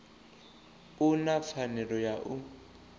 u na pfanelo ya u